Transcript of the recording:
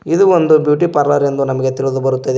ಇದು ಒಂದು beauty parlour ಎಂದು ನಮಗೆ ತಿಳಿದು ಬರುತ್ತದೆ.